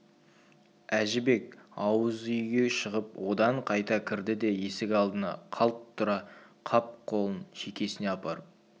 әжібек ауыз үйге шығып одан қайта кірді де есік алдына қалт тұра қап қолын шекесіне апарып